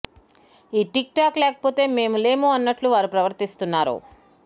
ఈ TikTok లేకపోతే మేము లేము అన్నట్లు వారు ప్రవర్తిస్తున్నారు